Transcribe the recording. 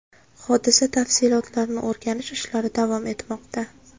Hodisa tafsilotlarini o‘rganish ishlari davom etmoqda.